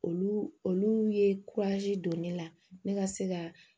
Olu olu ye don ne la ne ka se ka